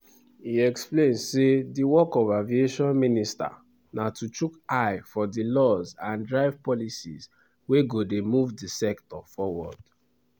e explain say di work of aviation minister na to chook eye for di laws and drive policies wey go move di sector forward.